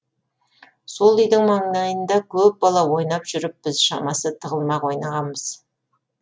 сол үйдің маңайында көп бала ойнап жүріппіз шамасы тығылмақ ойнағанбыз